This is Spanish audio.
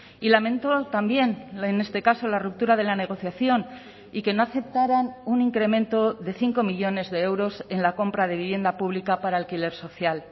y lamento también en este caso la ruptura de la negociación y que no aceptarán un incremento de cinco millónes de euros en la compra de vivienda pública para alquiler social